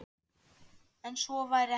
En svo væri ekki.